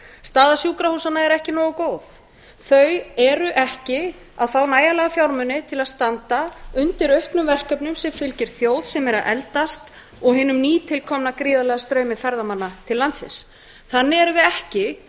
staða sjúkrahúsanna er ekki nógu góð þau fá ekki nægjanlega fjármuni til að standa undir auknum verkefnum sem fylgir þjóð sem er að eldast og hinum nýtilkomna gríðarlega straumi ferðamanna til landsins þannig búum